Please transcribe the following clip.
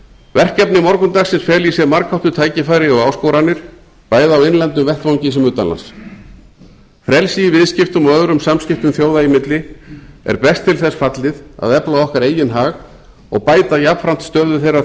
verkefni morgundagsins fela í sér margháttuð tækifæri og áskoranir bæði á innlendum vettvangi sem utanlands frelsi í viðskiptum og öðrum samskiptum þjóða í milli er best til þess fallið að efla okkar eigin hag og bæta jafnframt stöðu þeirra